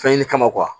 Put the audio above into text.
Fɛn ɲini kama